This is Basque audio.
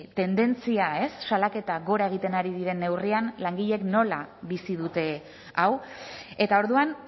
tendentzia ez salaketa gora egiten ari diren neurrian langileek nola bizi dute hau eta orduan